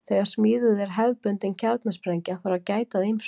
Þegar smíðuð er hefðbundin kjarnasprengja þarf að gæta að ýmsu.